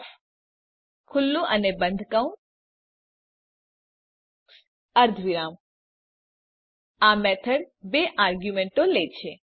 copyOfમાર્ક્સ 5 આ મેથડ બે આર્ગ્યુંમેંટો લે છે